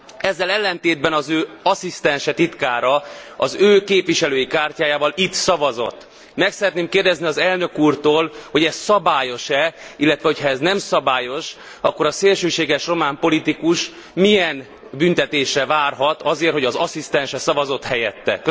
Ezzel ellentétben az ő asszisztense, titkára az ő képviselői kártyájával itt szavazott. Meg szeretném kérdezni az elnök úrtól, hogy ez szabályos e, illetve hogyha ez nem szabályos, akkor a szélsőséges román politikus milyen büntetésre várhat azért, hogy az asszisztense szavazott helyette.